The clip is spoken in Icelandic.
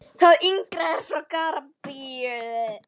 Það yngra er frá Gambíu.